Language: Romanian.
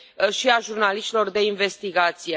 și a jurnaliștilor de investigație.